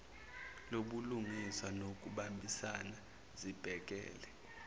lobulungiswa nokubambisana zibhekele